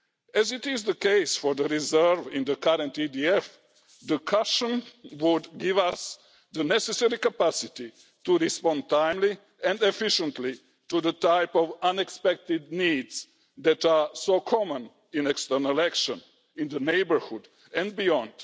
As is the case for the reserve in the current EDF, the cushion would give us the necessary capacity to respond timely and efficiently to the type of unexpected needs that are so common in external action in the neighbourhood and beyond.